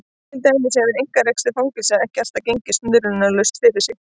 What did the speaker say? Til dæmis hefur einkarekstur fangelsa ekki alltaf gengið snurðulaust fyrir sig.